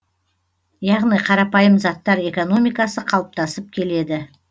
яғни қарапайым заттар экономикасы қалыптасып келеді